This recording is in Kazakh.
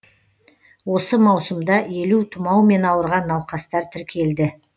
осы маусымда елу тұмаумен ауырған науқастар тіркелді